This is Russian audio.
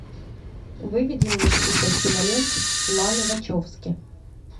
выведи мне список кинолент ланы вачовски